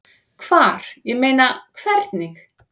Hvar, ég meina. hvernig?